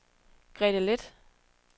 Grete Leth